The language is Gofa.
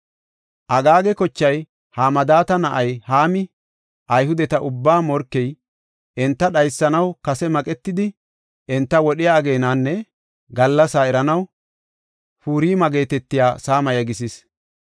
Agaaga kochay, Hamadaata na7ay Haami, Ayhudeta ubbaa morkey, enta dhaysanaw kase maqetidi enta wodhiya ageenanne gallasa eranaw Purima geetetiya saama yegisis.